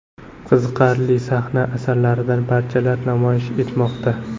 Qiziqarli sahna asarlaridan parchalar namoyish etmoqda.